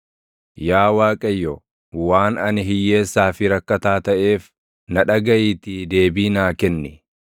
Yaa Waaqayyo, waan ani hiyyeessaa fi rakkataa taʼeef, na dhagaʼiitii deebii naa kenni.